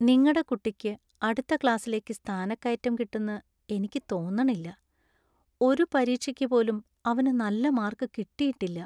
നിങ്ങടെ കുട്ടിക്ക് അടുത്ത ക്ലാസിലേക്ക് സ്ഥാനക്കയറ്റം കിട്ടുന്ന് എനിയ്ക്ക് തോന്നണില്ല, ഒരു പരീക്ഷയ്ക്ക് പോലും അവനു നല്ല മാർക്ക് കിട്ടിയിട്ടില്ല .